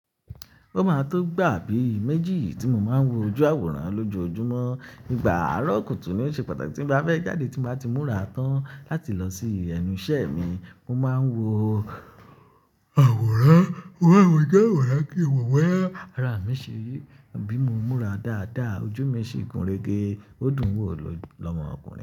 Ó máa tó gbà bíi méjì tí mo máa ń wọ ju àwòrán lojoojúmọ́. Nígbà àárọ̀ kùtù ni ó ṣe pàtàkì tí n bá fẹ́ jáde tí mo bá ti múra tán láti lọ sí ẹnu ìṣẹ́ mi. Mo máa ń wọ àwòrán, wọ àwòrán kí n wọ̀ boyá, ara mi ṣe rí, bi mo múra dáadáa, ojú mi ṣi gun rege, ó dùn wò lọ́mọ ọkùnrin.